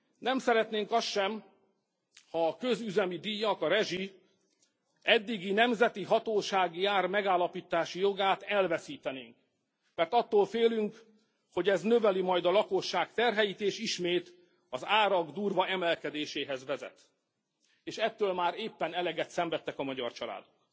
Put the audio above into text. Nem szeretnénk azt sem, ha a közüzemi díjak, a rezsi eddigi nemzetihatóságiár megállapítási jogát elveszítenénk, mert attól félünk, hogy ez növeli majd a lakosság terheit, és ismét az árak durva emelkedéséhez vezet, és ettől már éppen eleget szenvedtek a magyar családok.